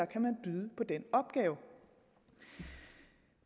kan man byde på den opgave